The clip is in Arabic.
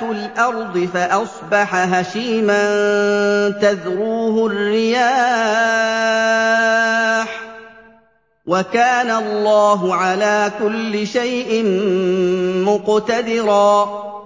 الْأَرْضِ فَأَصْبَحَ هَشِيمًا تَذْرُوهُ الرِّيَاحُ ۗ وَكَانَ اللَّهُ عَلَىٰ كُلِّ شَيْءٍ مُّقْتَدِرًا